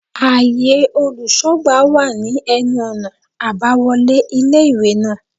Áye olùsógbà wà ní enu ònà àbáwolé ilé ìwé náà